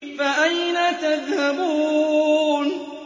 فَأَيْنَ تَذْهَبُونَ